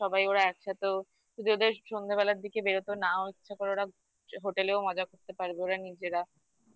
সবাই ওরা একসাথে যদি ওদের সন্ধ্যেবেলার দিকে বেরোতো না ইচ্ছে করে ওরা hotel এও মজা করতে পারবে ওরা নিজেরা